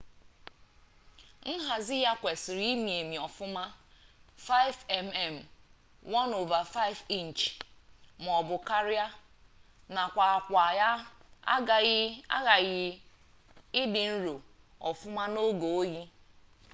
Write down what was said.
nhazi ya kwesịrị imi emi ọfụma 5 mm 1/5 inchi maọbụ karia nakwa akwa ya aghaghị idi nro ọfụma n'oge oyi